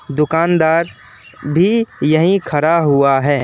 दुकानदार भी यही खड़ा हुआ है।